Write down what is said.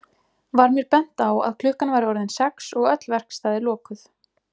Var mér bent á að klukkan væri orðin sex og öll verkstæði lokuð.